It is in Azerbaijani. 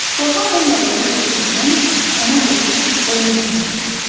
Qorxaq olmadığını sübut etmək üçün ona qoşulub oyun zalına gedirsən.